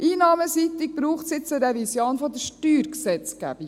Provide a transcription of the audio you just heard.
Einnahmenseitig braucht es jetzt eine Revision der Steuergesetzgebung.